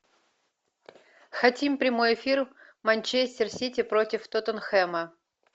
хотим прямой эфир манчестер сити против тоттенхэма